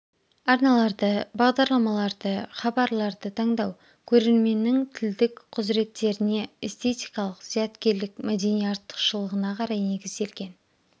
арналарды бағдарламаларды хабарларды таңдау көрерменнің тілдік құзыреттеріне эстетикалық зияткерлік мәдени артықшылығына қарай негізделген